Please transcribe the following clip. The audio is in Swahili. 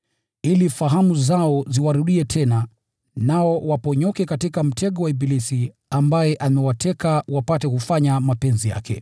ili fahamu zao ziwarudie tena, nao waponyoke katika mtego wa ibilisi ambaye amewateka wapate kufanya mapenzi yake.